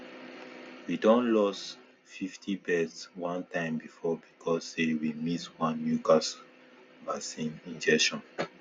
we don lost fifty birds one time before because say way miss one newcastle vaccine injection